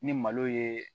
Ni malo ye